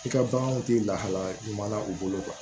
I ka baganw tɛ lahalaya ɲuman na u bolo